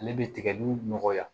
Ale bɛ tigɛli nɔgɔya